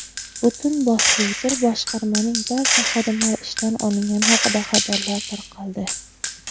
butun boshli bir boshqarmaning barcha xodimlari ishdan olingani haqida xabarlar tarqaldi.